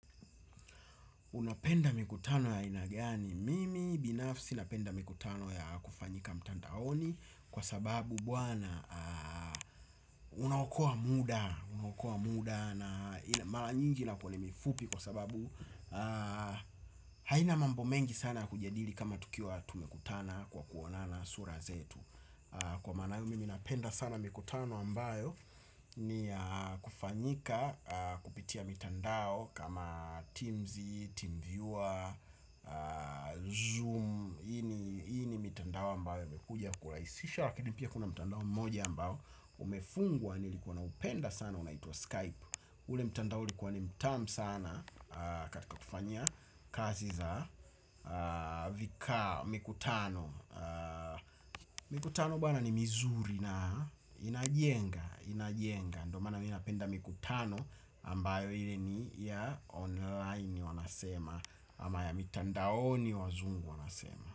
Unapenda mikutano ya aina gani? Mimi binafsi napenda mikutano ya kufanyika mtandaoni kwa sababu bwana unaokoa muda, unaokoa muda na mara nyingi na kwenye mifupi kwa sababu haina mambo mengi sana ya kujadili kama tukiwa tumekutana kwa kuonana sura zetu. Kwa maana hiyo mimi napenda sana mikutano ambayo ni ya kufanyika kupitia mitandao. Kama Teams, TeamViewer, Zoom. Hii ni mitandao ambayo imekuja kurahisisha lakini pia kuna mtandao mmoja ambao umefungwa nilikuwa naupenda sana unaitwa Skype. Ule mtandao ulikuwa ni mtamu sana katika kufanyia kazi za kaa mkutano. Mikutano bwana ni mizuri na inajenga, inajenga ndio maana mi napenda mikutano ambayo ile ni ya online wanasema ama ya mitandaoni wazungu wanasema.